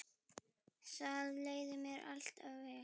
Þar leið mér alltaf vel.